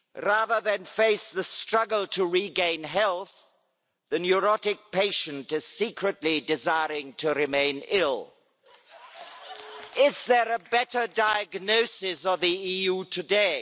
Rather than face the struggle to regain health, the neurotic patient is secretly desiring to remain ill. Is there a better diagnosis of the EU today?